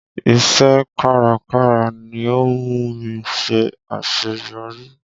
Iṣẹ́ kárakára ni ó múmi ṣe àṣẹyọrí.